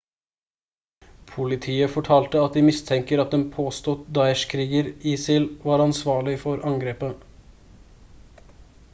politiet fortalte de mistenker at en påstått daesh-kriger isil var ansvarlig for angrepet